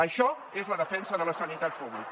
això és la defensa de la sanitat pública